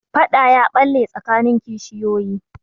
Faɗa ya ɓalle tsakanin kishiyoyi.